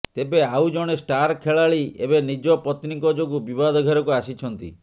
ତେବେ ଆଉ ଜଣେ ଷ୍ଟାର ଖେଳାଳି ଏବେ ନିଜ ପତ୍ନୀଙ୍କ ଯୋଗୁଁ ବିବାଦ ଘେରକୁ ଆସିଛନ୍ତି